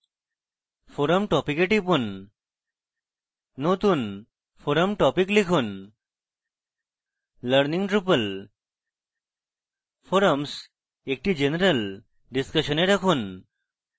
forum topic a টিপুন নতুন forum topic লিখুন learning drupal forums এটি general discussion a রাখুন